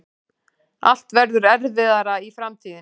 Allt verður erfiðara í framtíðinni.